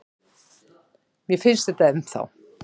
Mér finnst þetta ennþá.